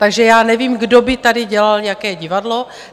Takže já nevím, kdo by tady dělal jaké divadlo.